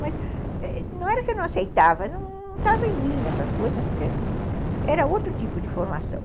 Mas não era que eu não aceitava, não estava em mim essas coisas, porque era outro tipo de formação.